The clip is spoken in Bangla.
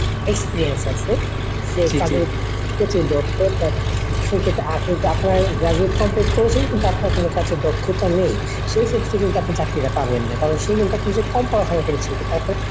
Experience আছে। সে কাজে প্রচুর দক্ষ তার সেক্ষেত্রে আর কিন্তু আপনার graduate complete করেছেন কিন্তু আপনার কোনো কাজের দক্ষতা নেই। সেক্ষত্রে কিন্তু আপনি চাকরিটা পাবেন নাহ কারণ সে কিন্তু আপনার চেয়ে কম পড়াশুনা করেছে কিন্তু তারপর